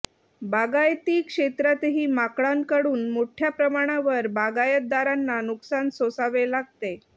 बागायती क्षेत्रातही माकडांकडून मोठ्या प्रमाणावर बागायतदारांना नुकसान सोसावे लागते